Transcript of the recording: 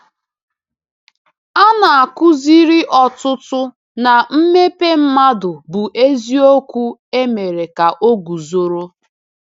A na-akụziri ọtụtụ na mmepe mmadụ bụ eziokwu emere ka ọ guzoro.